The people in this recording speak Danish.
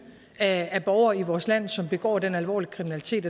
af borgere i vores land som begår den alvorlige kriminalitet